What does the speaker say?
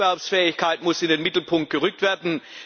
Die Wettbewerbsfähigkeit muss in den Mittelpunkt gerückt werden.